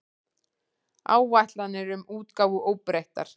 Áætlanir um útgáfu óbreyttar